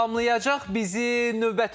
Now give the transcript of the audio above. Salamlayacaq bizi növbəti qonağımız.